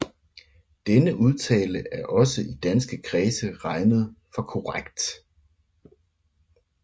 Denne udtale er også i danske kredse regnet for korrekt